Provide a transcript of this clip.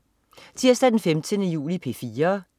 Tirsdag den 15. juli - P4: